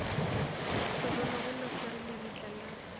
segologolo se re lebitla la